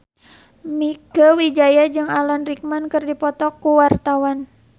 Mieke Wijaya jeung Alan Rickman keur dipoto ku wartawan